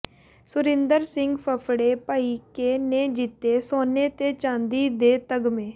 ਸੁਰਿੰਦਰ ਸਿੰਘ ਫਫੜੇ ਭਾਈਕੇ ਨੇ ਜਿੱਤੇ ਸੋਨੇ ਤੇ ਚਾਂਦੀ ਦੇ ਤਗਮੇ